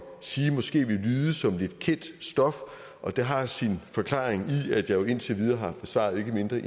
sige måske vil lyde som lidt kendt stof og det har sin forklaring i at jeg jo indtil videre har besvaret ikke mindre